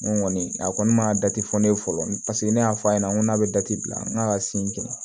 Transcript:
N ko kɔni a kɔni ma dati fɔ ne ye fɔlɔ paseke ne y'a fɔ a ɲɛna n ko n'a bɛ da ti bila n ka sin kɛ